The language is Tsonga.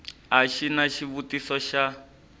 a xi na xivutiso xa